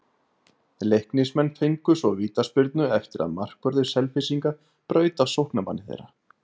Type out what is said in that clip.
Leiknismenn fengu svo vítaspyrnu eftir að markvörður Selfyssinga braut á sóknarmanni þeirra.